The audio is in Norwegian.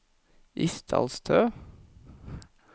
Isdalstø